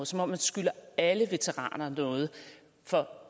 som om man skylder alle veteraner noget